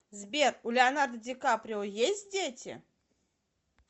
сбер у леонардо ди каприо есть дети